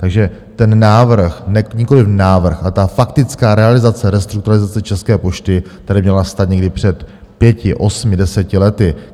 Takže ten návrh - nikoliv návrh, ale ta faktická realizace restrukturalizace České pošty tady měla nastat někdy před pěti, osmi, deseti, lety.